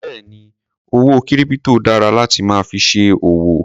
Béèni owó kírípítò dára láti máa fi ṣe òwò.